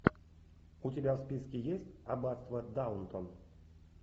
у тебя в списке есть аббатство даунтон